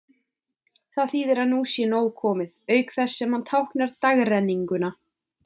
Hann þýðir að nú sé nóg komið, auk þess sem hann táknar dagrenninguna.